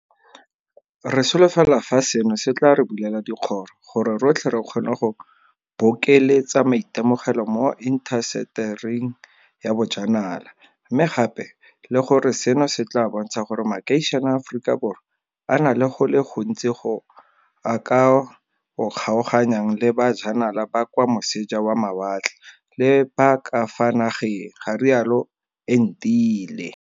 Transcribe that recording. Re solofela fa seno se tla re bulela dikgoro gore rotlhe re kgone go bokeletsa maitemogelo mo intasetering ya bojanala, mme gape le gore seno se tla bontsha gore makeišene a Aforika Borwa a na le go le gontsi go a ka o kgaoganyang le ba janala ba kwa moseja wa mawatle le ba ka fa nageng, ga rialo Entile.